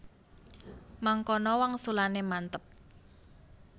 Mangkono wangsulane mantep